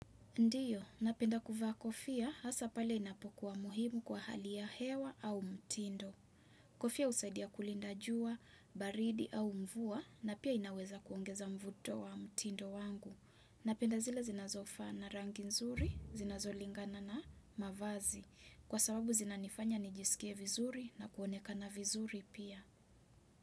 Ndiyo, napenda kuvaa kofia hasa pale inapokuwa muhimu kwa hali ya hewa au mtindo. Kofia husaidia kulinda jua, baridi au mvua na pia inaweza kuongeza mvuto wa mtindo wangu. Napenda zile zinazofaa na rangi nzuri, zinazolingana na mavazi. Kwa sababu zinanifanya nijisikie vizuri na kuoneka na vizuri pia.